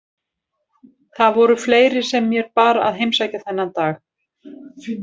Það voru fleiri sem mér bar að heimsækja þennan dag.